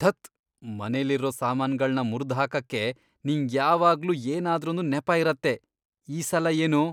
ಧತ್! ಮನೆಲಿರೋ ಸಾಮಾನ್ಗಳ್ನ ಮುರ್ದ್ ಹಾಕಕ್ಕೆ ನಿಂಗ್ಯಾವಾಗ್ಲೂ ಏನಾದ್ರೊಂದ್ ನೆಪ ಇರತ್ತೆ.. ಈ ಸಲ ಏನು?